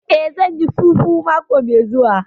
Eh, zan yi fufu mako mai zuwa